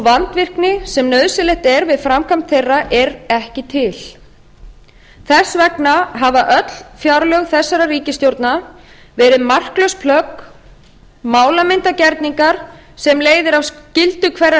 vandvirkni sem nauðsynlegt er við framkvæmd þeirra er ekki til þess vegna hafa öll fjárlög þessarar ríkisstjórnar verið marklaus plögg málamyndar gerningar sem leiðir af skyldu hverrar